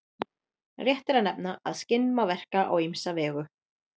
Rétt er að nefna að skinn má verka á ýmsa vegu.